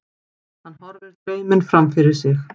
Hann horfir dreyminn framfyrir sig.